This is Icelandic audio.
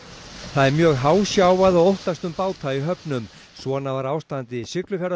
það er mjög hásjávað og óttast um báta í höfnum svona var ástandið í